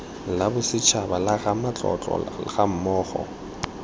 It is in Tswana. la bosetshaba la ramatlotlo gammogo